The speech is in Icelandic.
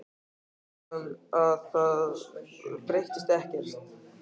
Stúlkan veit að það breytist ekkert.